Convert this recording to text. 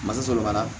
Masa sɔrɔ ka na